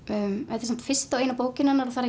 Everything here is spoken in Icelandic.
þetta er samt fyrsta og eina bókin hennar og það